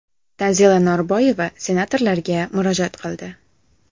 Tanzila Norboyeva senatorlarga murojaat qildi.